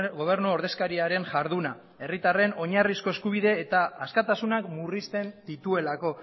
gobernu ordezkariaren jarduna herritarren oinarrizko eskubide eta askatasunak murrizten dituelako